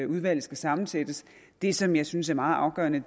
udvalget skal sammensættes det som jeg synes er meget afgørende